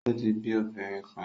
O ti bi obinrin kan